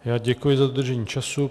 Já děkuji za dodržení času.